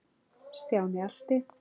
Stjáni elti.